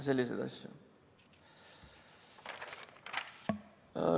Selliseid asju.